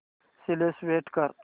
select कर